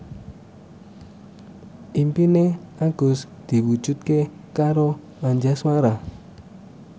impine Agus diwujudke karo Anjasmara